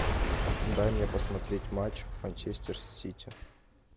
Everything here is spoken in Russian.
дай мне посмотреть матч манчестер сити